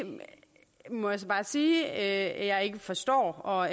må jeg så bare sige at at jeg ikke forstår og